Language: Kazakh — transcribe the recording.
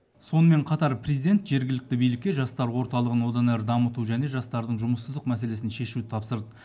сонымен қатар президент жергілікті билікке жастар орталығын одан әрі дамыту және жастардың жұмыссыздық мәселесін шешуді тапсырды